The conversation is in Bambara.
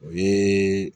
O ye